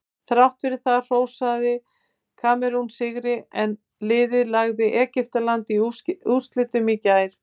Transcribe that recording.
Þrátt fyrir það hrósaði Kamerún sigri en liðið lagði Egyptaland í úrslitum í gær.